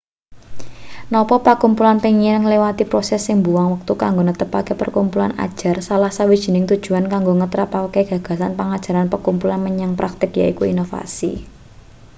napa pakumpulan pengin ngliwati proses sing mbuwang wektu kanggo netepake pakumpulan ajar salah sawijining tujuan kanggo ngetrapake gagasan pangajaran pakumpulan menyang praktik yaiku inovasi